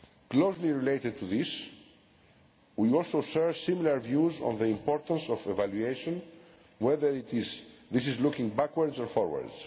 Closely related to this, we also share similar views on the importance of evaluation, whether this is looking backwards or forwards.